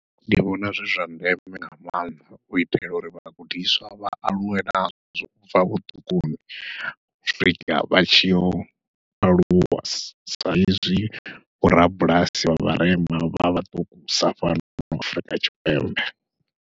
Ndi vhona zwi zwa ndeme nga maanḓa u itela uri vhagudiswa vha aluwe nazwo ubva vhuṱukuni, u swika vha tshiyo u aluwa saizwi vhorabulasi vha vharema vha vha ṱukusa fhano Afurika Tshipembe.